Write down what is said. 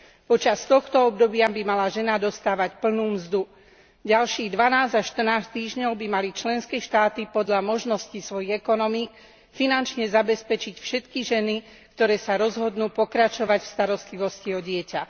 Počas tohto obdobia by mala žena dostávať plnú mzdu, ďalších 12 až 14 týždňov by mali členské štáty podľa možnosti svojich ekonomík finančne zabezpečiť všetky ženy, ktoré sa rozhodnú pokračovať v starostlivosti o dieťa.